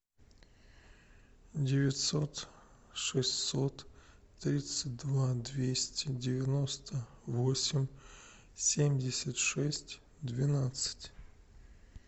девятьсот шестьсот тридцать два двести девяносто восемь семьдесят шесть двенадцать